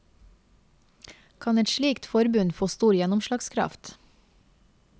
Kan et slikt forbund få stor gjennomslagskraft?